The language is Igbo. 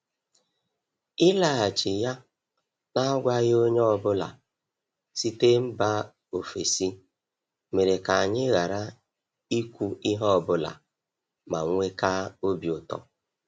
Ịlaghachi ya n’agwaghị onye ọ bụla site mba ofesi mere ka anyị ghara ikwu ihe ọ bụla manwekaa obi ụtọ.